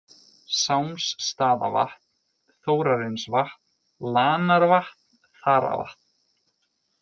Sámsstaðavatn, Þórarinsvatn, Lanarvatn, Þaravatn